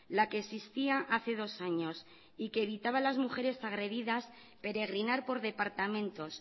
la que existía hace dos años y que evitaba a las mujeres agredidas peregrinar por departamentos